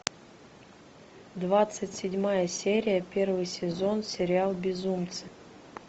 двадцать седьмая серия первый сезон сериал безумцы